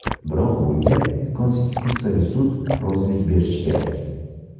Biroq bunga Konstitutsiyaviy sud rozilik berishi kerak.